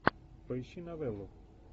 поищи новеллу